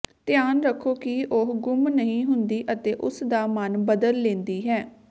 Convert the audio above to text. ਧਿਆਨ ਰੱਖੋ ਕਿ ਉਹ ਗੁੰਮ ਨਹੀਂ ਹੁੰਦੀ ਅਤੇ ਉਸ ਦਾ ਮਨ ਬਦਲ ਲੈਂਦੀ ਹੈ